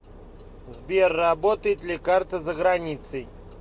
сбер работает ли карта за границей